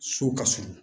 So ka surun